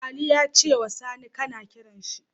Ali yace wa Sani kAna kiranshi